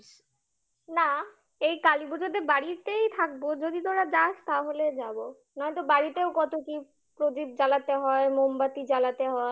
না এই কালীপুজোতে বাড়িতেই থাকবো যদি তোরা যাস তাহলে যাবো নয়তো বাড়িতেও কত কি প্রদীপ জ্বালাতে হয়, মোমবাতি জ্বালাতে হয়